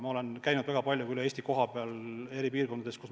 Ma olen käinud väga palju üle Eesti kohapeal eri piirkondades.